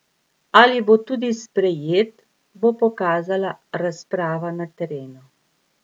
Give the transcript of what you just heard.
Ali bo tudi sprejet, bo pokazala razprava na terenu.